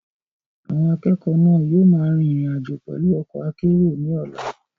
Àwọn akẹ́kọ̀ọ́ náà yóò máa rin ìrìn àjò pẹ̀lú ọkọ̀ akérò ní ọ̀la.